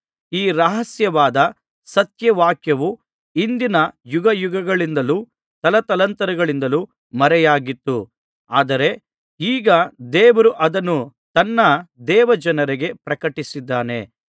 ಈ ರಹಸ್ಯವಾದ ಸತ್ಯವಾಕ್ಯವು ಹಿಂದಿನ ಯುಗಯುಗಗಳಿಂದಲೂ ತಲತಲಾಂತರಗಳಿಂದಲೂ ಮರೆಯಾಗಿತ್ತು ಆದರೆ ಈಗ ದೇವರು ಅದನ್ನು ತನ್ನ ದೇವಜನರಿಗೆ ಪ್ರಕಟಿಸಿದ್ದಾನೆ